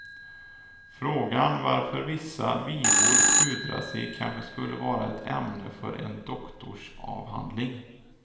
Frågan varför vissa vivor pudrar sig kanske skulle vara ett ämne för en doktorsavhandling.